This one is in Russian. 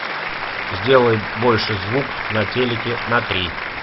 сделай больше звук на телике на три